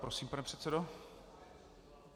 Prosím, pan předsedo.